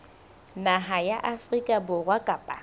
naha ya afrika borwa kapa